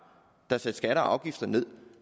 der satte skatter og afgifter ned